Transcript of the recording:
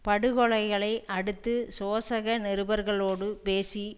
படுகொலைகளை அடுத்து சோசக நிருபர்களோடு பேசி